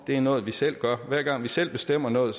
er noget vi selv gør hver gang vi selv bestemmer noget